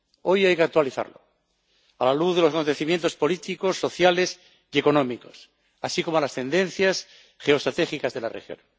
Hoy hay que actualizarlo a la luz de los acontecimientos políticos, sociales y económicos, así como a las tendencias geoestratégicas de la región.